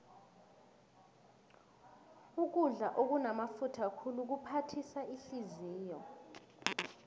ukudla okunamafutha khulu kuphathisa ihliziyo